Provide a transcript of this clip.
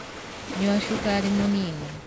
Nyua cukari mũnini.